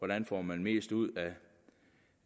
man får mest ud